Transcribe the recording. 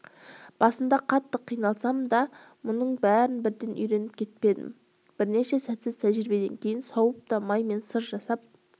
басында қатты қиналсам да мұның бәрін бірден үйреніп кетпедім бірнеше сәтсіз тәжірибеден кейін сауып та май мен сыр жасап